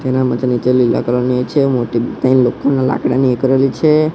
તેના માટે નીચે લીલા કલર ની એ છે મોટી તય લોખંડનાં લાકડાની એ કરેલી છે.